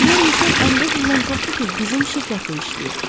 Pier Mişel 15 ildən çoxdur ki, bizim şirkətdə işləyir.